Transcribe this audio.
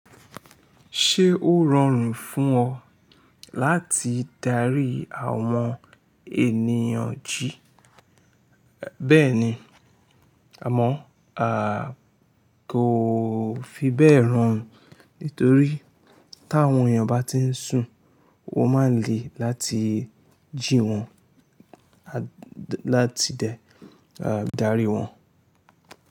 Ṣé ó rọrùn fún ọ láti darí àwọn ènìyàn jí? Bẹ́ẹ̀ni, àmọ́ a kò fi bẹ́ẹ̀ rọrùn nítorí táwọn èèyàn bá ti ń sùn, o máà ń le láti jí wọn, láti dẹ darí wọn.